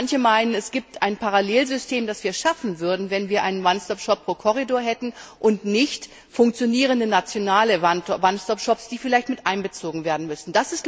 Manche meinen, es gäbe ein Parallelsystem, das wir schaffen würden, wenn wir einen One Stop Shop pro Korridor hätten und nicht funktionierende nationale One Stop Shops, die vielleicht miteinbezogen werden müssten.